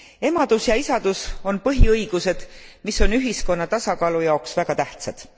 Emadus ja isadus on põhiõigused, mis on ühiskonna tasakaalu jaoks väga tähtsad.